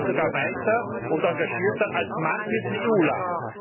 Und da sind sie sogar weiter und engagierter als manches EU Land!